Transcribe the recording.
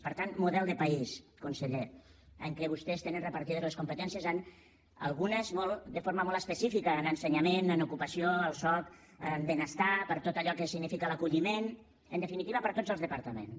per tant model de país conseller en què vostès tenen repartides les competències algunes de forma molt específica en ensenyament en ocupació al soc a benestar per tot allò que significa l’acolliment en definitiva per tots els departaments